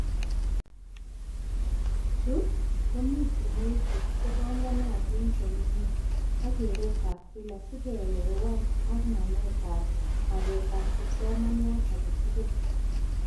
Chu komii somoishek chebanganatin komie ak keretab kila sikeelewan ak nametab magetab kipsomaniat aketugul